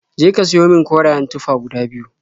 Je ka siyo min korayen tufa guda biyu.